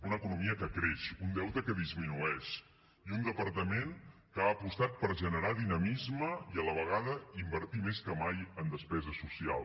una economia que creix un deute que disminueix i un departament que ha apostat per generar dinamisme i a la vegada invertir més que mai en despesa social